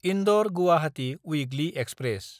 इन्दर–गुवाहाटी weekly express